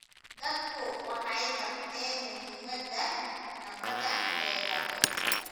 Dadku waxay barteen muhiimadda nabaddu leedahay.